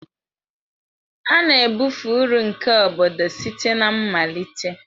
A na-ebufe uru nke obodo site na mmalite.